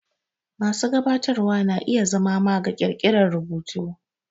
Masu gabatarwa na iya zama maga ƙirƙirar rubutu.